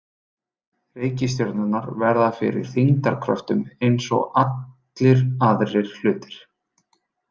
Reikistjörnurnar verða fyrir þyngdarkröftum eins og allir aðrir hlutir.